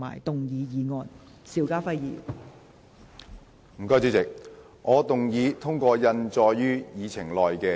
代理主席，我動議通過印載於議程內的議案。